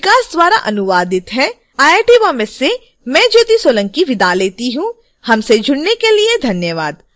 यह स्क्रिप्ट विकास द्वारा अनुवादित है आई आई टी बॉम्बे से मैं ज्योति सोलंकी आपसे विदा लेती हूँ हमसे जुड़ने के लिए धन्यवाद